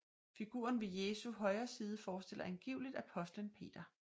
Figuren ved Jesu højre side forestiller angiveligt apostlen Peter